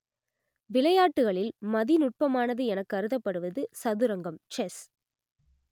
விளையாட்டுகளில் மதிநுட்பமானது எனக் கருதப்படுவது சதுரங்கம் செஸ்